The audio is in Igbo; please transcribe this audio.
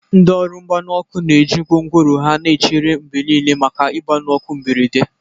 Ndị ọrụ mgbanyụ ọkụ na-eji gwongworo ha na-echere mgbe niile, maka igbanyị ọkụ mberede.